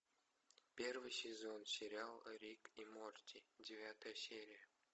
первый сезон сериал рик и морти девятая серия